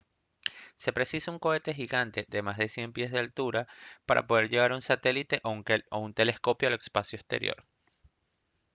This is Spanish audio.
se precisa un cohete gigante de más de 100 pies de altura para poder llevar un satélite o telescopio al espacio exterior